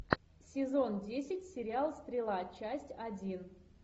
сезон десять сериал стрела часть один